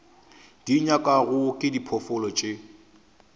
di nyakwago ke diphoofolo tše